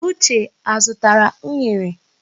Uche azụtara unere?